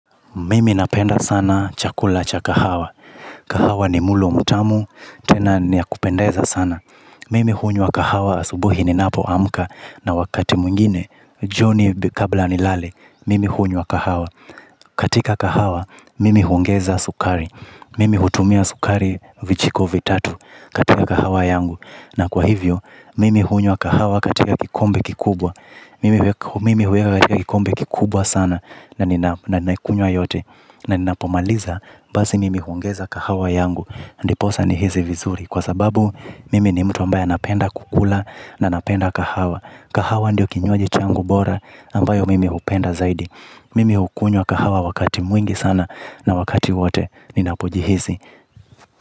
Mimi napenda sana chakula cha kahawa. Kahawa ni mulo mtamu, tena ni ya kupendeza sana. Mimi hunywa kahawa asubuhi ni napo amuka na wakati mwingine, jioni kabla ni lale, mimi hunywa kahawa. Katika kahawa, mimi huongeza sukari. Mimi hutumia sukari vijiko vitatu katika kahawa yangu. Na kwa hivyo, mimi hunywa kahawa katika kikombe kikubwa. Mimi hunywa katika kikombe kikubwa sana na ninaikunywa yote. Na ninapomaliza, basi mimi huongeza kahawa yangu Andi posa ni hizi vizuri. Kwa sababu, mimi ni mtu ambaya napenda kukula na napenda kahawa. Kahawa ndio kinywaji changu bora ambayo mimi hupenda zaidi. Mimi hukunywa kahawa wakati mwingi sana na wakati wate ninapojihisi.